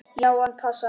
Já, hann passar.